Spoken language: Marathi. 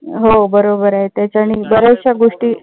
हो बरोबर आहे. त्याच्यानी बऱ्याचश गोष्टी